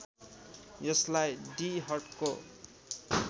यसलाई डी हटको